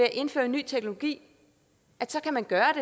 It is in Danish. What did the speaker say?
at indføre ny teknologi kan man gøre